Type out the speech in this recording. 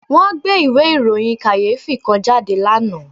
Wọ́n gbé ìwé ìròyìn kàyéfì kan jáde lánàá